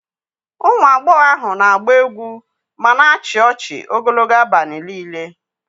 Ụmụ agbọghọ ahụ na-agba egwu ma na-achị ọchị ogologo abalị niile.